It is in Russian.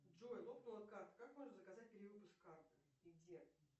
джой лопнула карта как можно заказать перевыпуск карты и где